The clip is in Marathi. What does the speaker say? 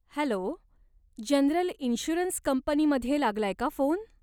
हॅलो, जनरल इन्श्युरन्स कंपनीमध्ये लागलाय का फोन?